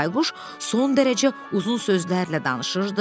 Bayquş son dərəcə uzun sözlərlə danışırdı.